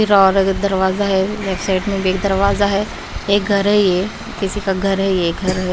और दरवाजा है लेफ्ट साइड में भी एक दरवाजा है एक घर है ये किसी का घर है ये घर है ।